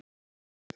Anna María.